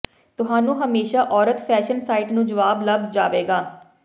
ਤੁਹਾਨੂੰ ਹਮੇਸ਼ਾ ਔਰਤ ਫੈਸ਼ਨ ਸਾਈਟ ਨੂੰ ਜਵਾਬ ਲੱਭ ਜਾਵੇਗਾ